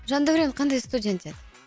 жандәурен қандай студент еді